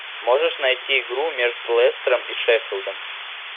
можешь найти игру между лестером и шеффилдом